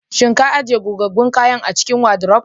Kin ajiye gogaggun kayan a cikin wadiruf?